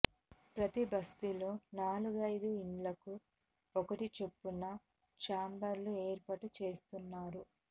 ప్రతీ బస్తీలో నాలుగైదు ఇండ్లకు ఒక్కటి చొప్పున ఛాంబర్లు ఏర్పాటు చేస్తున్నారు